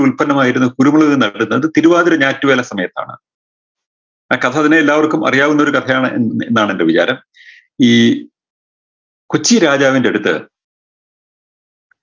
ഉല്പന്നമായിരുന്നു കുരുമുളക് നടുന്നത് തിരുവാതിര ഞാറ്റുവേല സമയത്താണ് ആ കഥ പിന്നെ എല്ലാവർക്കും അറിയാവുന്ന ഒരു കഥയാണ് എന്ന് എന്നാണ് എൻറെ വിചാരം ഈ കൊച്ചി രാജാവിൻറെടുത്ത്